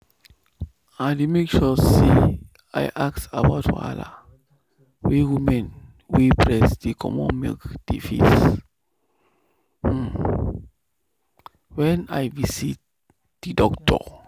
i dey make sure say i ask about wahala wey women wey breast dey comot milk dey face when i visit the doctor.